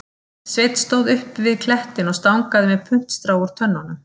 Sveinn stóð uppi við klettinn og stangaði með puntstrá úr tönnunum